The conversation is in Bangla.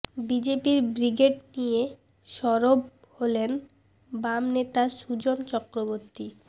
বিজেপির ব্রিগেড নিয়ে সরব হলেন বাম নেতা সুজন চক্রবর্তী